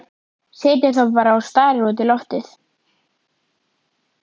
Situr þá bara og starir út í loftið.